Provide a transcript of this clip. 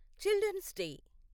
children's day